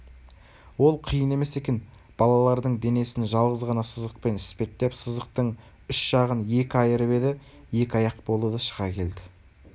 ол қиын емес екен балалардың денесін жалғыз ғана сызықпен іспеттеп сызықтың үш жағын екі айырып еді екі аяқ болды да шыға келді